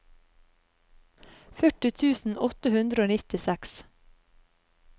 førti tusen åtte hundre og nittiseks